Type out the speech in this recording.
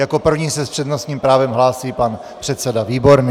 Jako první se s přednostním právem hlásí pan předseda Výborný.